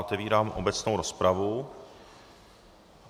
Otevírám obecnou rozpravu.